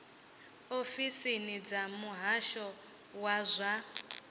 ofisini dza muhasho wa zwa